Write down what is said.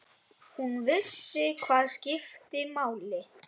Hún vissi hvað skipti máli.